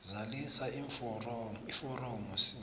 zalisa iforomo c